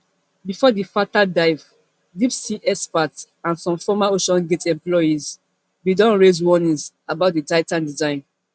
before di fatal dive deep sea experts and some former oceangate employees bin don raise warnings about di titan design